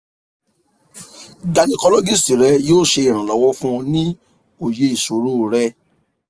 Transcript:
gynaecologist rẹ yoo ṣe iranlọwọ fun ọ ni oye iṣoro rẹ